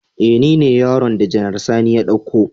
E ni ne yaron da Janar Sani ya dauko